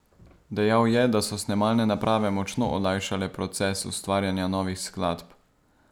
Dejal je, da so snemalne naprave močno olajšale proces ustvarjanja novih skladb.